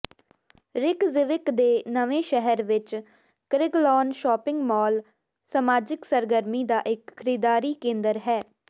Reykjavik ਦੇ ਨਵੇਂ ਸ਼ਹਿਰ ਵਿੱਚ ਕ੍ਰਿਗਲਾਨ ਸ਼ਾਪਿੰਗ ਮਾਲ ਸਮਾਜਿਕ ਸਰਗਰਮੀ ਦਾ ਇੱਕ ਖਰੀਦਦਾਰੀ ਕੇਂਦਰ ਹੈ